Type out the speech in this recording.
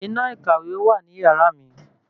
Iná ìkàwé wà ní yàrá mi